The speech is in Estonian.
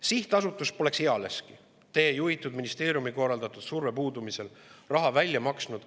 Sihtasutus poleks ealeski teie juhitud ministeeriumi korraldatud surve puudumisel riske hindamata raha välja maksnud.